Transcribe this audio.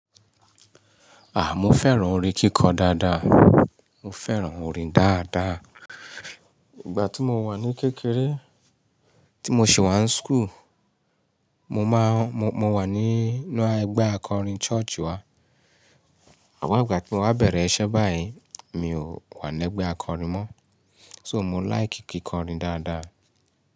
À, mo fẹ́ràn orin kíkọ dáadáa. Mo fẹ́ràn orin dáadáa. Ìgbà tí mo wà ní kékeré, tí mo sì wà ní school, mo máa, mo, mo wà nínú ẹgbẹ́ akọrin church wá. Àmo ìgbà tí mo wá bẹ̀rẹ̀ iṣẹ́ báyìí, mi ò wà lẹ́gbẹ́ akọrin mọ́. So mo like kíkọ orin dáadáa.